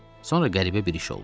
Sonra qəribə bir iş oldu.